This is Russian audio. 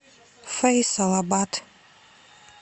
фейсалабад